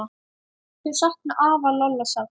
Þau sakna afa Lolla sárt.